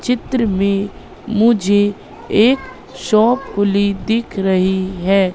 चित्र में मुझे एक शॉप खुली दिख रही है।